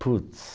Puts!